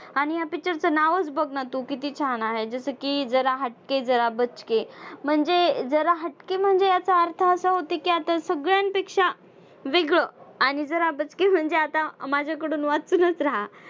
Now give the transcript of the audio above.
आणि ह्या picture चं नावच बघ ना तू किती छान आहे? जसं की जरा हटके जरा बचके म्हणजे जरा हटके म्हणजे याचा अर्थ असा होतो की आता सगळ्यांपेक्षा वेगळं आणि जरा बचके म्हणजे आता माझ्याकडून वाचूनच रहा.